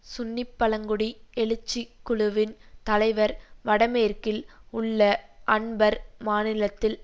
சுன்னி பழங்குடி எழுச்சிக் குழுவின் தலைவர் வடமேற்கில் உள்ள அன்பர் மாநிலத்தில்